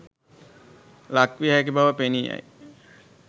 ලක්විය හැකි බව පෙනී යයි.